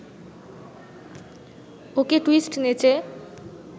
ওকে twist নেচে